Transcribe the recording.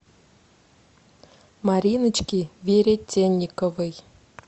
мариночке веретенниковой